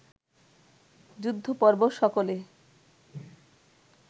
যুদ্ধপর্ব সকলে